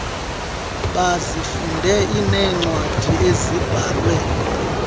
bazifunde iinewadi ezibhalwe